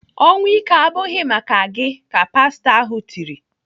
"Ọnwụ ike abụghị maka gị!" ka pastọ ahụ tiri.